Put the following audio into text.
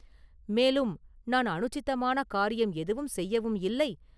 மேலும் நான் அனுசிதமான காரியம் எதுவும் செய்யவும் இல்லை.